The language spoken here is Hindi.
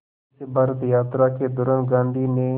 इस भारत यात्रा के दौरान गांधी ने